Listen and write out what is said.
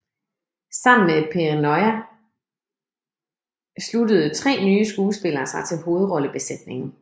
Sammen med Perrineau sluttede tre nye skuespillere sig til hovedrollebesætningen